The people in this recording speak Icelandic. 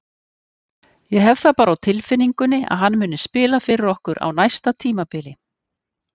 Ég hef það bara á tilfinningunni að hann muni spila fyrir okkur á næsta tímabili.